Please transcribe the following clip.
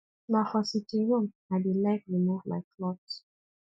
na for sitting room i dey like remove my cloth